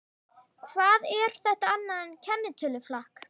Hvað er þetta annað en kennitöluflakk?